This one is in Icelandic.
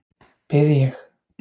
Bið ég.